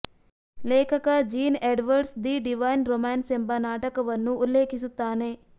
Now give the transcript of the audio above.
ಲೇಖಕ Jean Edwards the divine romance ಎಂಬ ನಾಟಕವನ್ನು ಉಲ್ಲೇಖಿಸುತ್ತಾನೆ